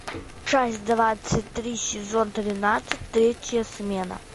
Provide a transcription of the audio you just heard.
часть двадцать три сезон тринадцать третья смена